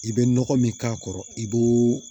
I bɛ nɔgɔ min k'a kɔrɔ i b'o